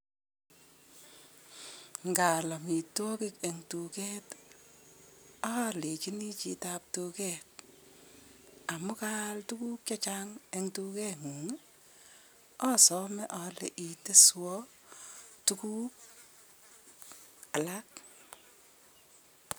Ngaal amitwogik eng duket alejini chitoap duket" amu kaal tuguk chechang eng duketng'ung',asome ale iteswo tuguk alak